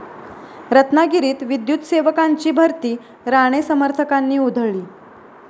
रत्नागिरीत विद्युतसेवकांची भरती राणे समर्थकांनी उधळली